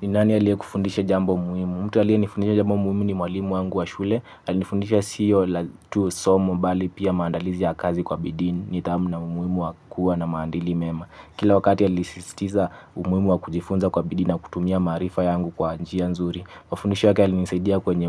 Ni nani aliyekufundisha jambo muhimu? Mtu aliyenifundisha jambo muhimu ni mwalimu wangu wa shule. Alinifundisha siyo la tu somo bali pia maandalizi ya kazi kwa bidii, nidhamu na umuhimu wa kuwa na maadili mema. Kila wakati alisisitiza umuhimu wa kujifunza kwa bidii na kutumia maarifa yangu kwa njia nzuri. Mafundisho yake yalinisaidia kwenye